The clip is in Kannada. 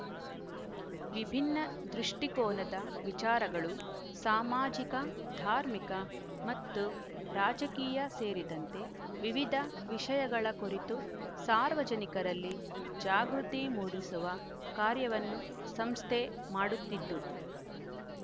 ವಿಭಿನ್ನ ದೃಷ್ಟಿಕೋನದ ವಿಚಾರಗಳು ಸಾಮಾಜಿಕ ಧಾರ್ಮಿಕ ಮತ್ತು ರಾಜಕೀಯ ಸೇರಿದಂತೆ ವಿವಿಧ ವಿಷಯಗಳ ಕುರಿತು ಸಾರ್ವಜನಿಕರಲ್ಲಿ ಜಾಗೃತಿ ಮೂಡಿಸುವ ಕಾರ್ಯವನ್ನು ಸಂಸ್ಥೆ ಮಾಡುತ್ತಿದ್ದು